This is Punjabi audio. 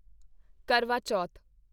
ਕਰਵਾ ਚੌਥ